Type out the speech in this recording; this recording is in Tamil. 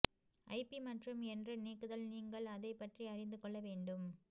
ஐபி மற்றும் என்று நீக்குதல் நீங்கள் அதை பற்றி அறிந்து கொள்ள வேண்டும்